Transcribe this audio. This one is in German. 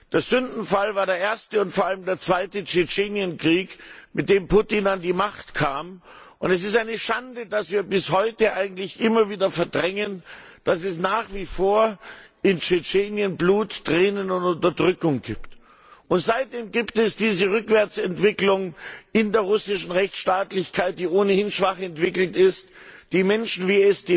Der Sündenfall war der erste und vor allem der zweite Tschetschenienkrieg, mit dem Putin an die Macht kam, und es ist eine Schande, dass wir bis heute eigentlich immer wieder verdrängen, dass es nach wie vor in Tschetschenien Blut, Tränen und Unterdrückung gibt. Seitdem gibt es diese Rückwärtsentwicklung in der russischen Rechtsstaatlichkeit, die ohnehin schwach entwickelt ist, die Menschen wie